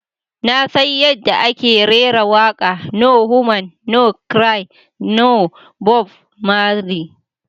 "Na san yadda ake rera waƙa"No woman no cry" na Bob marley.